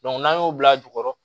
n'an y'o bila jukɔrɔ